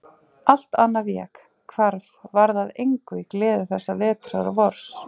Allt annað vék, hvarf, varð að engu í gleði þessa vetrar og vors.